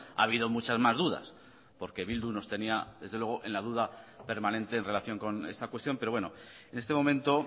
ha habido muchas más dudas porque bildu nos tenía desde luego en la duda permanente en relación con esta cuestión pero bueno en este momento